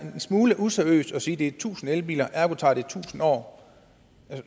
en smule useriøst at sige at det er tusind elbiler og ergo tager det tusind år